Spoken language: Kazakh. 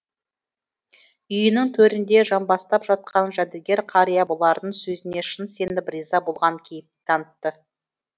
үйінің төрінде жамбастап жатқан жәдігер қария бұлардың сөзіне шын сеніп риза болған кейіп танытты